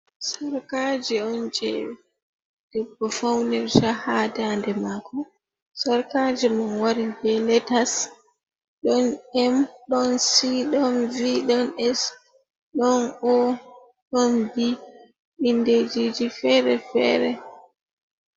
Sarkaje on je debbo faunerta ha da nde mako, sarkaje man wari be letas, ɗon em, ɗon si, ɗon vi, ɗon es, d ɗon o, ɗon bi, indejiji fere fere.